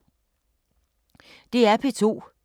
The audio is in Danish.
DR P2